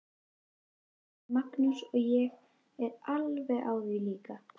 Þetta sagði Magnús og ég er alveg á því líka.